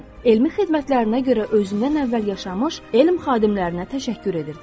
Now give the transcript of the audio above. Elmi xidmətlərinə görə özündən əvvəl yaşamış elm xadimlərinə təşəkkür edirdi.